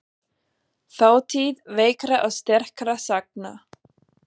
Þátíð veikra og sterkra sagna.